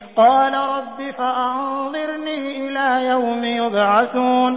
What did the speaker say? قَالَ رَبِّ فَأَنظِرْنِي إِلَىٰ يَوْمِ يُبْعَثُونَ